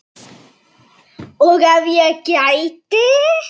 Og ef ég gæti?